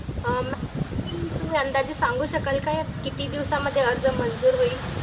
अं तुम्ही अंदाजे सांगू शकाल का या किती दिवसामध्ये आर्ज मंजूर होईल?